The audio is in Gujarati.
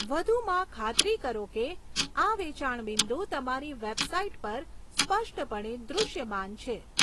વધુમાં, ખાતરી કરો કે આ વેચાણ બિંદુ તમારી વેબસાઇટ પર સ્પષ્ટપણે દૃશ્યમાન છે.